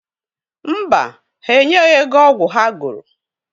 Mba, ha enyeghi ego ọgwụ ha goro.